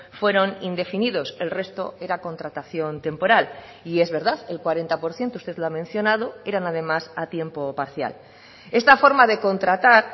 fueron indefinidos el resto era contratación temporal y es verdad el cuarenta por ciento usted lo ha mencionado eran además a tiempo parcial esta forma de contratar